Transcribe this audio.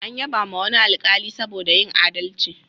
An yabawa wani alkali saboda yin aldalci.